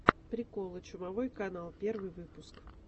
приколы чумовой канал первый выпуск